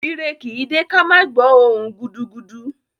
Ire kì í dé ká má gbọ̀ọ́ ohùn-un gudugudu